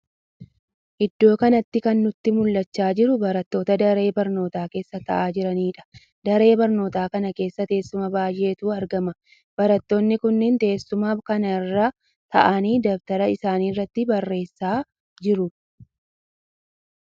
Iddoo kanatti kan nutti mul'achaa jiru barattoota daree barnootaa keessa ta'aa jiraniidha. Daree barnoota kana keessa teessuma baay'eetu argama. Barattoonni kunniin teessuma kana irra ta'aanii dabtara isaanii irratti barreessaa jiru.